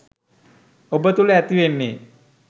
ඔබ තුළ ඇතිවෙන්නෙ.